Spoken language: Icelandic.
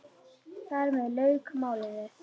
Þar með lauk málinu.